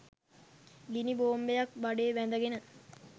ගිනි බෝම්බයක් බඩේ බැඳ ගෙන